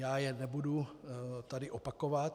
Já je nebudu tady opakovat.